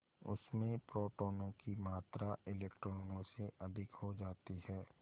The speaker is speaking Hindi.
उसमें प्रोटोनों की मात्रा इलेक्ट्रॉनों से अधिक हो जाती है